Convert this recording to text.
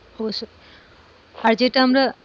অবশ্যই, আর যেটা আমরা।